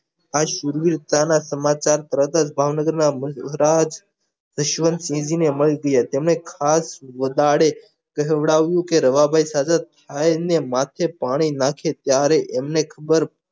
આ શુરવીરતાના સમાચાર તરત જ ભાવનગર ના મૃદ્રાજ ઈશ્વર શિવજી ને મળી ગયા તેને ખાસ દાડે કેહડાવું કે રવાભાઈ સાથે માથે પાણી નાખે ત્યારે એમને ખબર